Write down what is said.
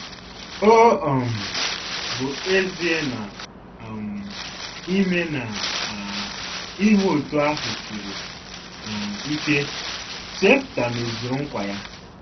Ọ um bụ ezie na um ime na um ime otú ahụ siri um ike, Jefta mezuru nkwa ya.